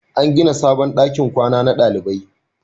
An gina sabon dakin kwana na dalibai